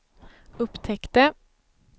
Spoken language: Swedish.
upptäckte